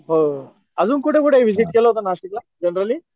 हो आजून कुठे कुठे व्हिसीट केले होत नाशिक ला जनराली?